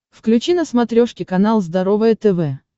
включи на смотрешке канал здоровое тв